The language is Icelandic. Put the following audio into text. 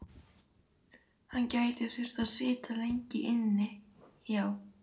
Hann gæti þurft að sitja lengi inni, já.